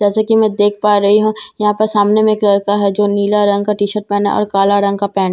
जैसे की मैं देख पा रही हूँ यहाँ पर सामने में एक लड़का है जो नीला रंग का टी शर्ट पहना और काले रंग का पैंट।